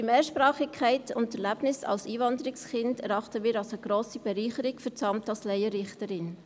Ihre Mehrsprachigkeit und Erlebnisse als Einwanderungskind erachten wir als grosse Bereicherung für das Amt als Laienrichterin.